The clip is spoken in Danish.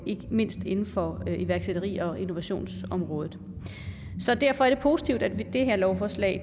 ikke mindst inden for iværksætteri og innovationsområdet så derfor er det positivt at vi med det her lovforslag